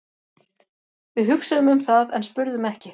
Við hugsuðum um það en spurðum ekki.